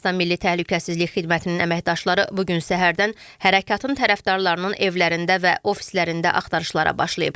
Ermənistan Milli Təhlükəsizlik Xidmətinin əməkdaşları bu gün səhərdən hərəkatın tərəfdarlarının evlərində və ofislərində axtarışlara başlayıb.